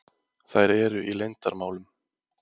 Þær eru í leyndarmálum.